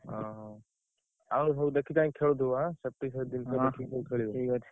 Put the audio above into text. ଓହୋ! ଆଉ ସବୁ ଦେଖି ଚାହିଁ ଖେଳୁଥିବ ଆଁ ଦେଖିକି ସବୁ ଖେଳିବ ।